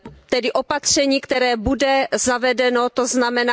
Tedy opatření, které bude zavedeno tzn.,